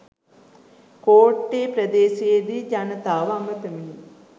කෝට්ටේ ප්‍රදේශයේදී ජනතාව අමතමින්